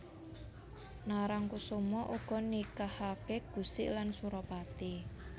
Narangkusuma uga nikahake Gusik lan Suropati